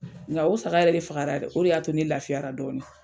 N ka o saga yɛrɛ de fagara dɛ o de y'a to ne lafiyara dɔɔni.